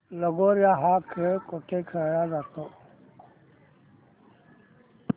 लगोर्या हा खेळ कुठे खेळला जातो